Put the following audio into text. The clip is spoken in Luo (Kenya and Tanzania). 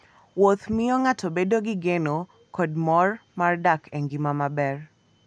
Wuoth miyo ng'ato bedo gi geno kod mor mar dak e ngima maber.